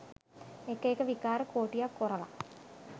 එක එක විකාර කෝටියක් කොරලා